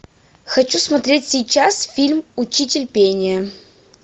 хочу смотреть сейчас фильм учитель пения